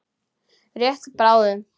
Rétt bráðum.